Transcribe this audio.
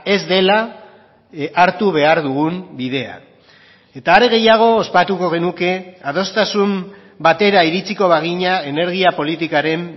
ez dela hartu behar dugun bidea eta are gehiago ospatuko genuke adostasun batera iritziko bagina energia politikaren